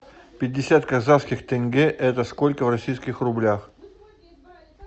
пятьдесят казахских тенге это сколько в российских рублях